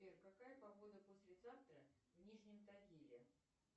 сбер какая погода послезавтра в нижнем тагиле